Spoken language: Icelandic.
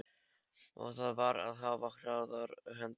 Og þar varð að hafa hraðar hendur.